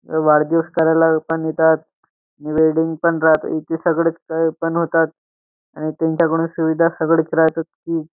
अ वाढदिवस करायला पण येतात आणि वेडिंग पण राहते इथे सगळेच काही पण होतात आणि त्यांच्याकडून सुविधा सगळंच राहतच की --